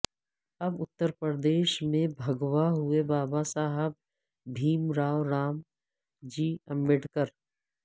اب اترپردیش میں بھگوا ہوئے بابا صاحب بھیم راو رام جی امبیڈکر